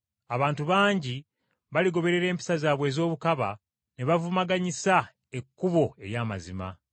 Abantu bangi baligoberera empisa zaabwe ez’obukaba ne bavumaganyisa ekkubo ery’amazima;